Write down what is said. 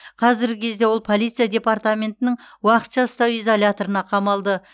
қазіргі кезде ол полиция департаментінің уақытша ұстау изоляторына қамалды